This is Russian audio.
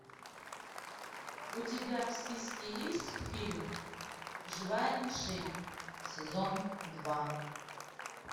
у тебя в списке есть фильм живая мишень сезон два